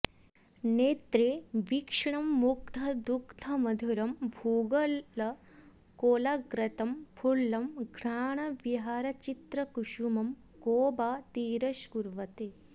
नेत्रे वीक्षणमुग्धदुग्धमधुरं भूगोलकोलाग्रतं फुल्लं घ्राणविहारचित्रकुसुमं को वा तिरस्कुर्वते